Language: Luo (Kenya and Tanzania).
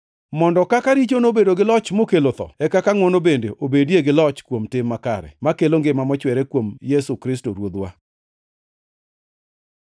mondo kaka richo nobedo gi loch mokelo tho, e kaka ngʼwono bende obedie gi loch kuom tim makare, makelo ngima mochwere kuom Yesu Kristo Ruodhwa.